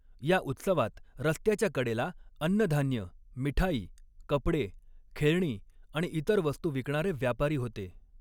या उत्सवात रस्त्याच्या कडेला अन्नधान्य, मिठाई, कपडे, खेळणी आणि इतर वस्तू विकणारे व्यापारी होते.